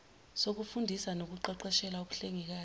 sokufundisa nokuqeqeshela ubuhlengikazi